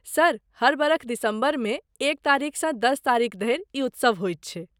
Sir, हर बरख दिसम्बरमे एक तारीखसँ दस तारीख धरि ई उत्सव होइत छै।